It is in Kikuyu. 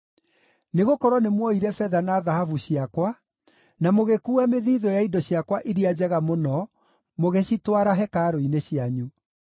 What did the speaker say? Nĩgũkorwo nĩmuoire betha na thahabu ciakwa, na mũgĩkuua mĩthiithũ ya indo ciakwa iria njega mũno mũgĩcitwara hekarũ-inĩ cianyu.